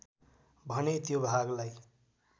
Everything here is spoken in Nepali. भने त्यो भागलाई